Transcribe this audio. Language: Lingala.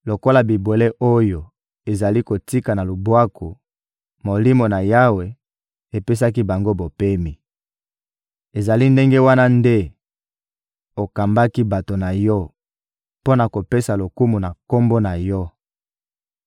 lokola bibwele oyo ezali kokita na lubwaku, Molimo na Yawe apesaki bango bopemi. Ezali ndenge wana nde okambaki bato na Yo mpo na kopesa lokumu na Kombo na Yo.